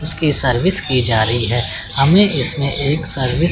जिसकी सर्विस की जा रही है हमें इसमें एक सर्विस --